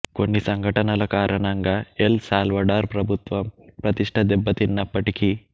కొన్ని సంఘటనల కారణంగా ఎల్ సాల్వడార్ ప్రభుత్వం ప్రతిష్ఠ దెబ్బతిన్నప్పటికీ